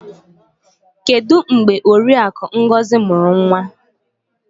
Kedu mgbe Oriakụ Ngozi mụrụ nwa?